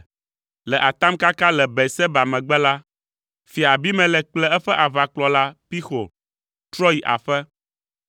Le atamkaka le Beerseba megbe la, Fia Abimelek kple eƒe aʋakplɔla, Pixol trɔ yi aƒe.